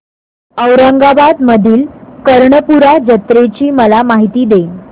औरंगाबाद मधील कर्णपूरा जत्रेची मला माहिती दे